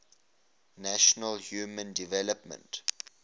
nations human development